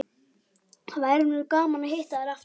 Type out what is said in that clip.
Það væri nú gaman að hitta þær aftur